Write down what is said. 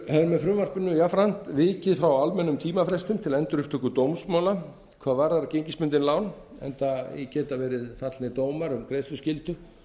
með frumvarpinu jafnframt vikið frá almennum tímafrestum til endurupptöku dómsmála hvað varðar gengisbundin lán enda geta verið fallnir dómar um greiðsluskyldu